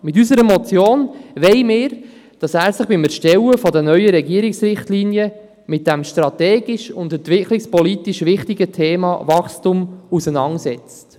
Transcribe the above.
Mit unserer Motion fordern wir, dass er sich beim Erstellen der neuen Regierungsrichtlinien mit dem strategisch und entwicklungspolitisch wichtigen Thema Wachstum auseinandersetzt.